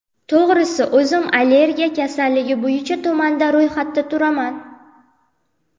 To‘g‘risi, o‘zim alergiya kasalligi bo‘yicha tumanda ro‘yxatda turaman.